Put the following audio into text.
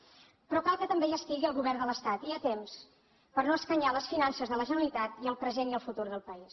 pe rò cal que també hi estigui el govern de l’estat i a temps per no escanyar les finances de la generalitat i el present i el futur del país